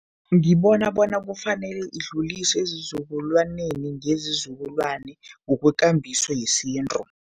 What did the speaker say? Ngibona bona kufanele idluliswe ezizukulwaneni ngezizukulwane, ngokwekambiso yesintu.